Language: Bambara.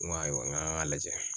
N ko ayiwa n k'an k'a lajɛ